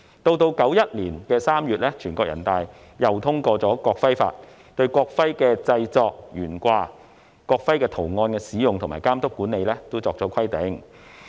1991年3月，全國人大又通過《國徽法》，對國徽的製作、懸掛、國徽圖案的使用及監督管理等作出規定。